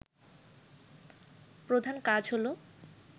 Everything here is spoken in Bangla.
প্রধান কাজ হল